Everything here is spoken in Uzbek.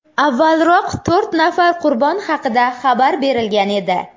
Avvalroq to‘rt nafar qurbon haqida xabar berilgan edi .